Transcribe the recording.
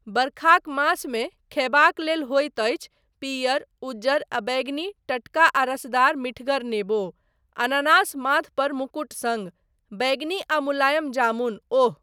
बरखाक मासमे खयबाक लेल होइत अछि पीअर, उजर आ बैंगनी टटका आ रसदार मीठगर नेबो, अनानास माथपर मुकुट सङ्ग, बैंगनी आ मुलायम जामुन, ओह!